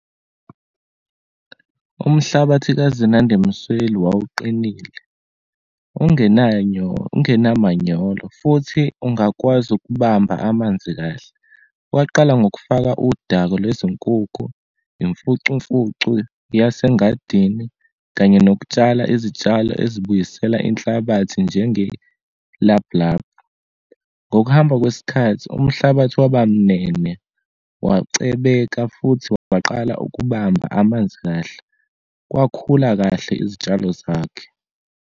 Umhlabathi kaZinande Msweli wawuqinile, ungena manyolo, futhi ungakwazi ukubamba amanzi kahle. Waqala ngokufaka udako lwezinkukhu, imfucumfucu yase ngadini, kanye nokutshala izitshalo ezibuyisela inhlabathi njengelablab. Ngokuhamba kwesikhathi umhlabathi wabamnene, wacebeka futhi waqala ukubamba amanzi kahle, kwakhula kahle izitshalo zakhe.